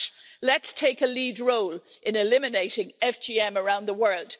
And let's take a lead role in eliminating FGM around the world.